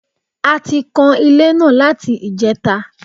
A ti kan ilé náà láti ìjẹta